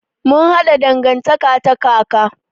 Mun haɗa dangantaka ta kaka.